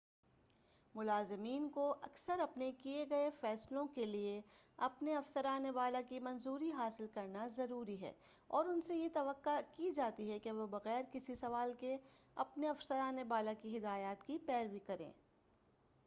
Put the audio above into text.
ملازمین کو اکثر اپنے کیے گئے فیصلوں کے لئے اپنے افسران بالا کی منظوری حاصل کرنا ضروری ہے اور ان سے یہ توقع کی جاتی ہے کہ وہ بغیر کسی سوال کے اپنے افسران بالا کی ہدایات کی پیروی کریں